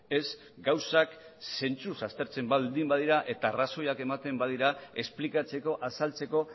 ez gauzak zentzuz aztertzen baldin badira eta arrazoiak ematen badira esplikatzeko azaltzeko